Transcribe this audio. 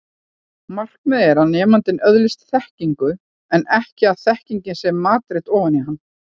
Markmiðið er að nemandinn öðlist þekkingu en ekki að þekkingin sé matreidd ofan í hann.